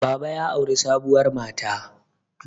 baba ya auri sabuwar mata